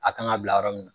A kan ka bila yɔrɔ min na